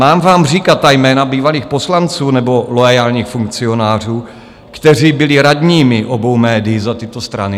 Mám vám říkat ta jména bývalých poslanců nebo loajálních funkcionářů, kteří byli radními obou médií za tyto strany?